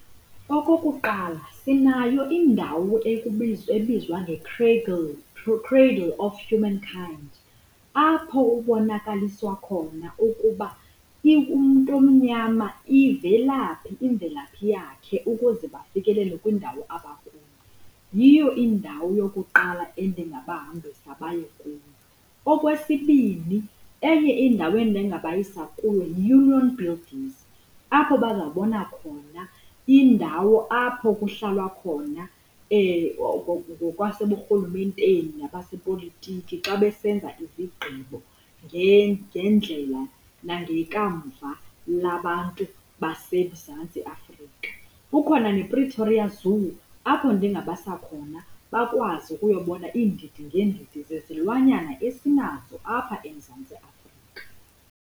Okokuqala, sinayo indawo ekubizwa ebizwa nge-Cradle of Humankind apho ubonakaliswa khona ukuba umntu omnyama ivelaphi imvelaphi yakhe ukuze bafikelele kwindawo abakuyo. Yiyo indawo eyokuqala endingabahambisa bayekuyo. Okwesibini, enye indawo endingabayisa kuyo yiUnion Buildings apho bazawubona khona indawo apho kuhlalwa khona ngokwaseburhulumenteni nabasepolitiki xa besenza izigqibo ngendlela nangekamva labantu baseMzantsi Afrika. Kukhona nePretoria Zoo apho ndingabasa khona bakwazi ukuyobona iindidi ngeendidi zezilwanyana esinazo apha eMzantsi Afrika.